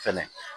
Fɛnɛ